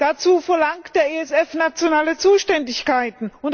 Dazu verlangt der ESF nationale Zuständigkeiten.